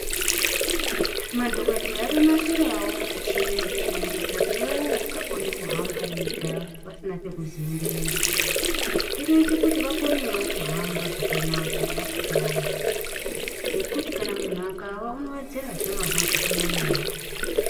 Madhokodheya akanasirawo michina yekushandisa kune vaya vasingakoni kuhamba vega vasina pekuzembera. Inoita kuti vakonewo kuhamba vasingawi nekuti kana muntu akawa kunowedzerazve marwadzo panyama yake.